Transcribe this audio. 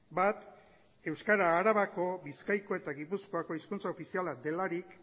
bat euskara arabako bizkaiko eta gipuzkoako hizkuntza ofiziala delarik